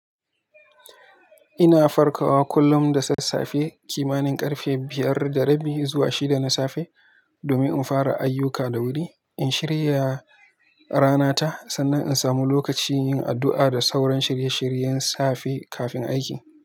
Ina farkawa kullum da sassafe kimanin ƙarfe biyar da rabi zuwa shida na safe domin in fara ayyuka da wuri. In shirya rana ta, sannan in samu lokaci yin addu'a da sauran shirye-shiryen safe kafin aiki.